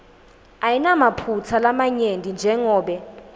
ayinamaphutsa lamanyenti njengobe